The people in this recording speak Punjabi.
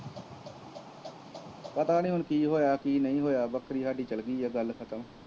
ਪਤਾ ਨਹੀਂ ਹੁਣ ਕੀ ਹੋਇਆ ਕੀ ਨਹੀਂ ਹੋਇਆ, ਬੱਕਰੀ ਸਾਡੀ ਚੱਲ ਗਈ ਹੈ, ਗੱਲ ਖਤਮ